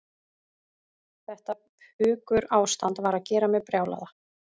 Þetta pukurástand var að gera mig brjálaða.